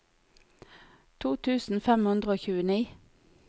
to tusen fem hundre og tjueni